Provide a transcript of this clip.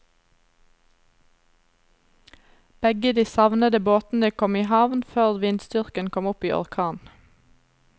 Begge de savnede båtene kom i havn før vindstyrken kom opp i orkan.